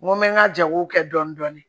N ko mɛ n ka jago kɛ dɔɔnin dɔɔnin